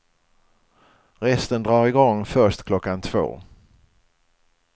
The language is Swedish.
Resten drar igång först klockan två.